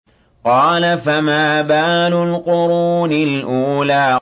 قَالَ فَمَا بَالُ الْقُرُونِ الْأُولَىٰ